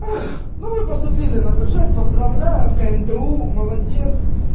ну вы поступили на бюджет поздравляю вкнту молодец